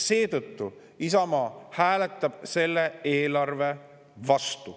Seetõttu hääletab Isamaa selle eelarve vastu.